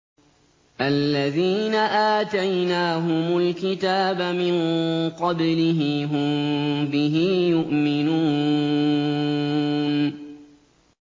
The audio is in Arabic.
الَّذِينَ آتَيْنَاهُمُ الْكِتَابَ مِن قَبْلِهِ هُم بِهِ يُؤْمِنُونَ